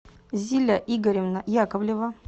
зиля игоревна яковлева